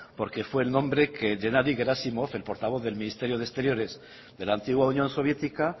porque fue el nombre que gennadi gerásimov el portavoz del ministerio de exteriores de la antigua unión soviética